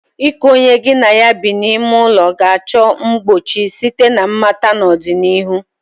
iku onye gi na ya bi n'ime ụlọ ga-achọ mgbochi site na mmata n'ọdịnihu.